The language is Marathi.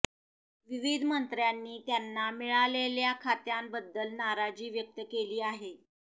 विविध मंत्र्यांनी त्यांना मिळालेल्या खात्यांबद्दल नाराजी व्यक्त केली आहे